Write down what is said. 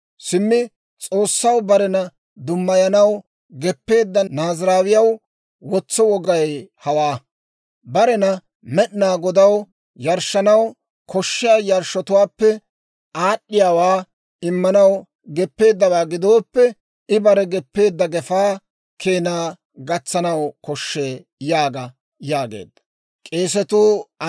« ‹Simmi S'oossaw barena dummayanaw geppeedda Naaziraawiyaw wotso wogay hawaa: barena Med'inaa Godaw yarshshanaw koshshiyaa yarshshotuwaappe aad'd'iyaawaa immanaw geppeeddawaa gidooppe, I bare geppeedda gefaa keenaa gatsanaw koshshee› yaaga» yaageedda.